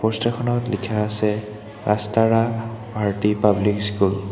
Poster খনত লিখা আছে ৰাষ্টাৰা ভাৰটি পাব্লিক স্কুল ।